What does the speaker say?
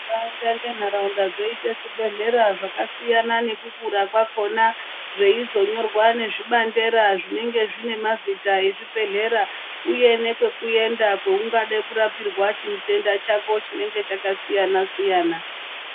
Nharaunda ngenharaunda zvoite zvibhedhlera zvakasiyana nekukura kwakhona zveizonyorwa nezvibandera zvinenge zvine mazita ezvibhedhlera uye nepekuenda peungada kurapirwa chitenda chako chinenge chakasiyana siyana.